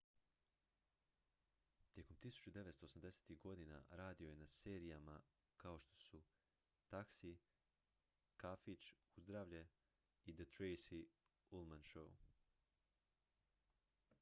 tijekom 1980-ih godina radio je na serijama kao što su taxi kafić uzdravlje i the tracy ullman show